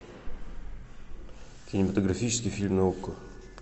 кинематографический фильм на окко